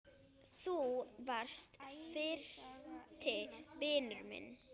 Þú varst fyrsti vinur minn.